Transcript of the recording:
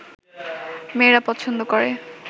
মেয়েরা পছন্দ করে